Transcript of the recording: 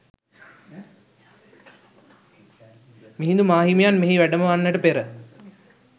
මිහිඳු මාහිමියන් මෙහි වැඩම වන්නට පෙර